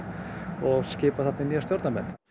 og skipað þarna nýja stjórn